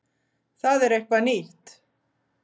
Það er eitthvað nýtt.